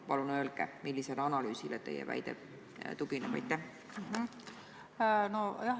Palun öelge, millisele analüüsile teie väide tugineb!